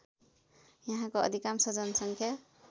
यहाँको अधिकांश जनसङ्ख्या